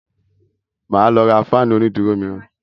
Màá lọ ra fáànù onídùúró mìíràn.